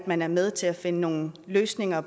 man er med til at finde nogle løsninger